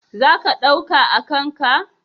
Za ka ɗauka a kan ka?